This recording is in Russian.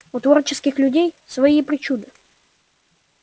у творческих людей свои причуды